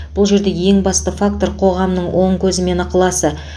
бұл жерде ең басты фактор қоғамның оң көзі мен ықыласы